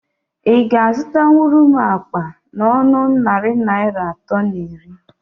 Ị ga azụtanwuru m akpa n'ọnọ narị Naịra atọ na iri?